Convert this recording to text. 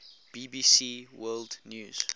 bbc world news